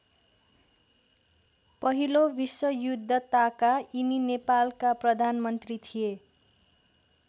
पहिलो विश्वयुद्ध ताका यिनी नेपालका प्रधानमन्त्री थिए।